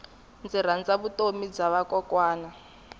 ndzi rhandza vutomi bya vakokwana